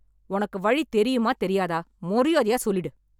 உனக்கு வழி தெரியுமா தெரியாதா மறியாதையா சொல்லிடு.